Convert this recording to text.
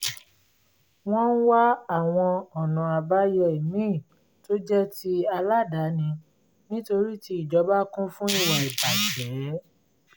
wọ́n ń wá àwọn ọ̀nà àbáyọ ìmíì tó jẹ́ ti aládàáni nítorí ti ìjọba kún fún ìwà ìbàjẹ́